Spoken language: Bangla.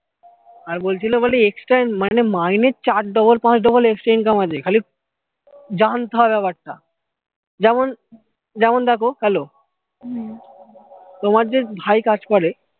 আর বলছিলো বলে extra মানে মাইনে চার double পাঁচ double extra income আছে খালি জানতে হবে ব্যাপার টা যেমন যেমন দেখো hello তোমার যে ভাই কাজ করে